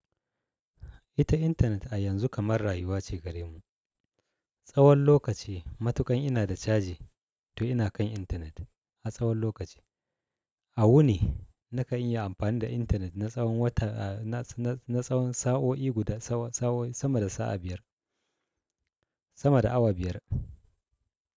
Ita intanet a yanzu kamar rayuwa ce gare mu. Tsawon lokaci matukan ina da caji to ina kan intanet, a tsawon lokaci. A wuni nakan yi amfani da intanet na tsawon wata a na, na, na tsawon sa'o'i guda sa'o'i sama da sa'a biyar, sama da awa biyar.